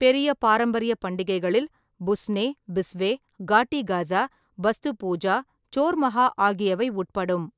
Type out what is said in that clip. பெரிய பாரம்பரிய பண்டிகைகளில் புஸ்னே, பிஸ்வே, காட்டி கஸா, பாஸ்து பூஜே, சோர் மகா ஆகியவை உட்படும்.